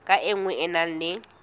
ka nngwe e na le